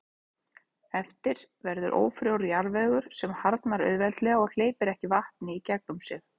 Eftir verður ófrjór jarðvegur sem harðnar auðveldlega og hleypir ekki vatni í gegnum sig.